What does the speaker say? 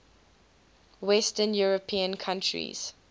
western european countries